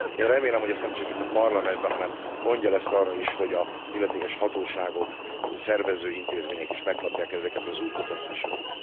Én remélem, hogy ezt nemcsak itt a Parlamentben, hanem gondja lesz arra is, hogy az illetékes hatóságok, szervező intézmények is megkapják ezeket az útmutatásokat.